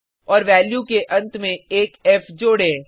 और वैल्यू के अंत में एक फ़ जोड़े